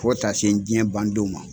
Fo taa se n diɲɛ bandon ma.